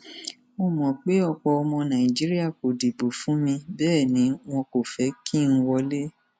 mo mọ pé pọ ọmọ nàìjíríà kò dìbò fún mi bẹẹ ni wọn kò fẹ kí n wọlé